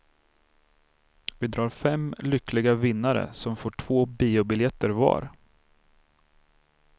Vi drar fem lyckliga vinnare som får två biobiljetter var.